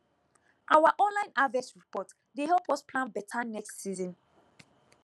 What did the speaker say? our online harvest report dey help us plan better next season